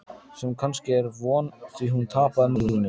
Sem kannski er von, því hún tapaði málinu.